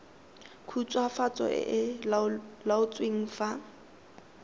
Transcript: khutswafatso e e laotsweng fa